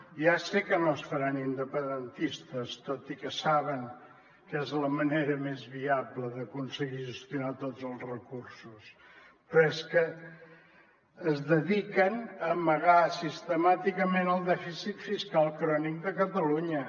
ja sé que no es faran independentistes tot i que saben que és la manera més viable d’aconseguir gestionar tots els recursos però és que es dediquen a amagar sistemàticament el dèficit fiscal crònic de catalunya